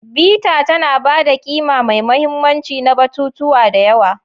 Bita tana ba da ƙima mai mahimmanci na batutuwa da yawa.